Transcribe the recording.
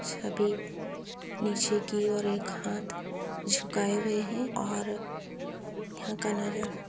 सभी नीचे की ओर एक हाथ झुकाये हुए है और यहाँ का नजारा --